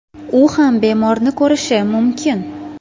U ham bemorni ko‘rishi mumkin.